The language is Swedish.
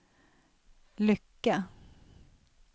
Lycke